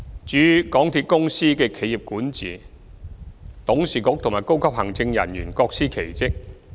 至於港鐵公司的企業管治，其董事局和高級行政人員各司其職。